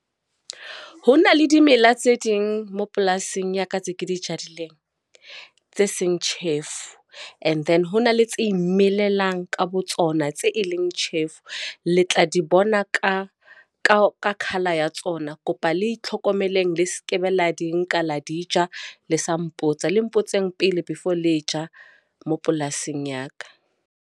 Ho na le dimela tse ding moo polasing ya ka tse ke di jadileng tse seng tjhefu. And then ho na le tse imelelang ka botsona tse e leng tjhefu. Le tla di bona ka ka colour ya tsona. Kopa le itlhokomeleng le sekebe la di nka la di ja le sa mpotsa. Le mpotseng pele before le ja mo polasing ya ka.